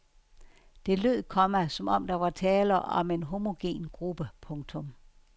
Det lød, komma som om der var tale om en homogen gruppe. punktum